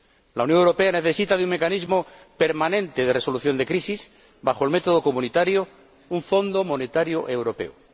La Unión Europea necesita de un mecanismo permanente de resolución de crisis bajo el método comunitario, un Fondo Monetario Europeo.